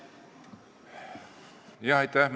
Aitäh!